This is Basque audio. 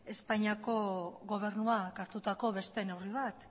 espainiako gobernuak hartutako beste neurri bat